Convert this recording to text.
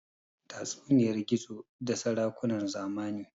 tatsuniyar gizo da sarakunan zamani